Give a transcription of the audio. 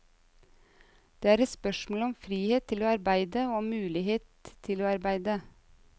Det er et spørsmål om frihet til å arbeide og om mulighet til å arbeide.